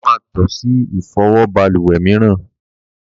Bàbá má to ṣe Ìfọwọ́ balùwè mìíràn.